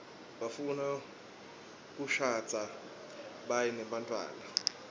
bafuna kishadza biabe nebantfuana